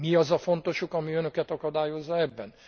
Mi az a fontos ok, ami önöket akadályozza ebben?